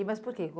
E Mas por quê?